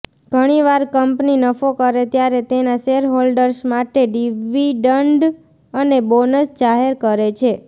ઘણીવાર કંપની નફો કરે ત્યારે તેના શેરહોલ્ડર્સ માટે ડિવિડન્ડ અને બોનસ જાહેર કરે છે